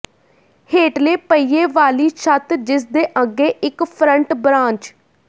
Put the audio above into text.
ਹੇਠਲੇ ਪਹੀਏ ਵਾਲੀ ਛੱਤ ਜਿਸਦੇ ਅੱਗੇ ਇਕ ਫਰੰਟ ਬਰਾਂਚ